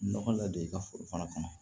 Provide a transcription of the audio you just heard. Nɔgɔ ladon i ka foro fana kɔnɔ